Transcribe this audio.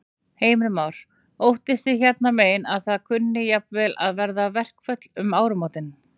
Heimir Már: Óttist þið hérna megin að það kunni jafnvel að verða verkföll um áramótin?